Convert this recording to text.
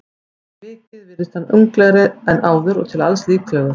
En fyrir vikið virðist hann unglegri en áður og til alls líklegur.